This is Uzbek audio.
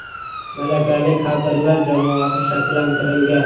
Malakali kadrlar jamoasi shakllantirilgan.